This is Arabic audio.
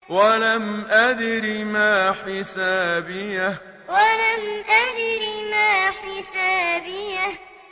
وَلَمْ أَدْرِ مَا حِسَابِيَهْ وَلَمْ أَدْرِ مَا حِسَابِيَهْ